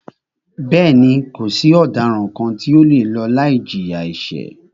Bẹ́ẹ̀ni, kò sí ọ̀daràn kàn tí o le lọ láì jìyà ẹ̀ṣẹ̀.